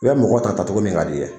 U ye mɔgɔ ta tacogo min ka di i ye